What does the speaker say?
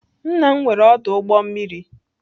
Nna m nwere ọdụ ụgbọ mmiri.